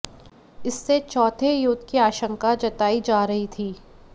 इससे चौथे युद्ध की आशंका जताई जा रही थी